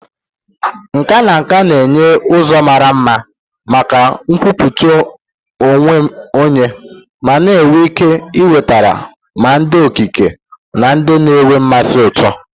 Nkà na nka na-enye ụzọ mara mma maka nkwupụta onwe onye ma nwee ike iwetara ma ndị okike na ndị na-enwe mmasị ụtọ.